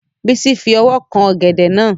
Bísí fi owó kan ọ̀gẹ̀dẹ̀ náà